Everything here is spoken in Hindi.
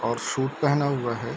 और सूट पेहना हुआ है।